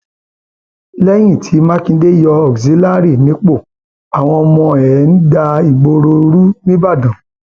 lẹyìn tí mákindé yọ auxillary nípò àwọn ọmọ ẹ ń da ìgboro rú nìbàdàn